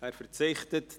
– Er verzichtet.